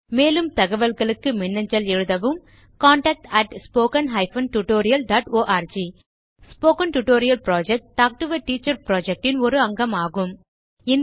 மேலும் தகவல்களுக்கு மின்னஞ்சல் எழுதவும் contactspoken tutorialorg spoken tutorial project talk to a teacher project இன் ஒரு அங்கமாகும்